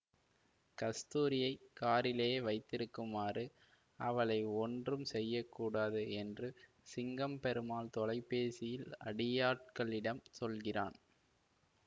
கஸ்தூரியைக் காரிலேயே வைத்திருக்குமாறும் அவளை ஒன்றும் செய்ய கூடாது என்று சிங்கம் பெருமாள் தொலைபேசியில் அடியாட்களிடம் சொல்கிறான்